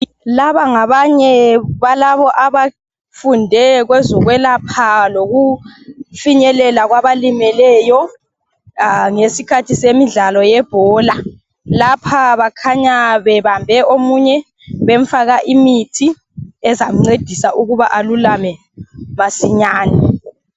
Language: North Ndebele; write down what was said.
Laba ngabanye balabo abafunde kwezokwelapha lokufinyelela kwabalimeleyo ngesikhathi semidlalo yebhola. Lapha bakhanya bebambe omunye bemfaka imithi ezamncedisa ukuba alulame masinyane .